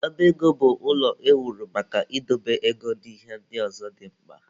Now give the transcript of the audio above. Ọba ego bụ ụlọ ewuru maka idobe ego na ihe ndị ọzọ dị mkpa.